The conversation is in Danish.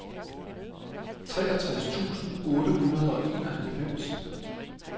treogtres tusind otte hundrede og enoghalvfems